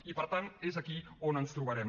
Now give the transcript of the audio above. i per tant és aquí on ens trobarem